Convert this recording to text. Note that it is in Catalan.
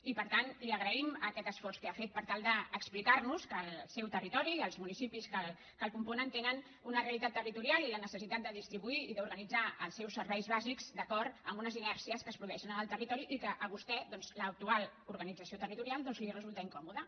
i per tant li agraïm aquest esforç que ha fet per tal d’explicarnos que el seu territori i els municipis que el componen tenen una realitat territorial i la necessitat de distribuir i d’organitzar els seus serveis bàsics d’acord amb unes inèrcies que es produeixen en el territori i que a vostè l’actual organització territorial li resulta incòmoda